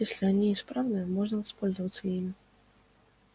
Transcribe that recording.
если они исправны можно воспользоваться ими